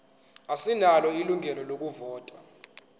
asinalo ilungelo lokuvota